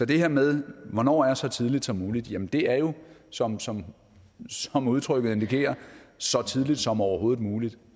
det her med hvornår er så tidligt som muligt jamen det er jo som som udtrykket indikerer så tidligt som overhovedet muligt